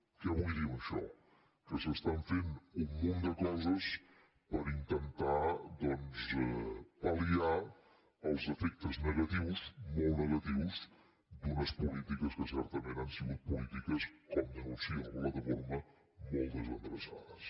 què vull dir amb això que s’estan fent un munt de coses per intentar pal·liar els efectes negatius molt negatius d’unes polítiques que certament han sigut polítiques com denuncia la plataforma molt desendreçades